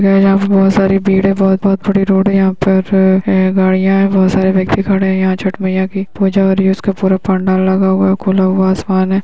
यहाँ पर बहुत सारी भीड़ है। बहुत बहुत बड़ी रोड है। यहाँ पर यहाँ गाड़ियाँ है। बहुत सारे व्यक्ति खड़े हैं। छठ माईया की पूजा हो रही है। उसका पूरा पंडाल लगा हुआ है। खुला हुआ असमान है।